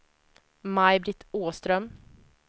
Maj-Britt Åström